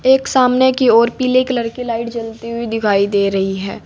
एक सामने की ओर पीले कलर की लाइट जलती हुई दिखाई दे रही है।